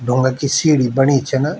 ढूँगा की सीडी बणई छिन।